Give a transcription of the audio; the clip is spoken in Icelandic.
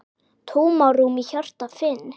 Tómarúm í hjarta finn.